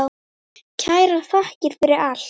Kærar þakkir fyrir allt.